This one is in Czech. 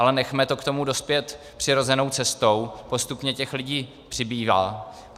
Ale nechme to k tomu dospět přirozenou cestou, postupně těch lidí přibývá.